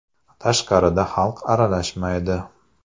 Tashqarida xalq aralashmaydi.